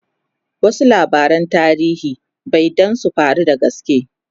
wasu labaran tarihi be Dan sun faru da gaske